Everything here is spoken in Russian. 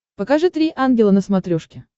покажи три ангела на смотрешке